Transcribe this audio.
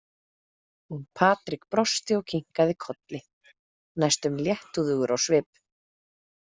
Og Patrik brosti og kinkaði kolli, næstum léttúðugur á svip.